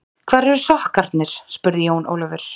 Hvar eru sokkarnir spurði Jón Ólafur.